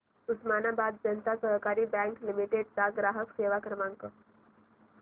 Osmanabad Janata Sahakari bank limited चा ग्राहक सेवा क्रमांक